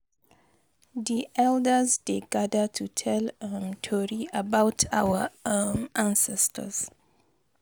Di elders dey gather to tell um tori about our um ancestors.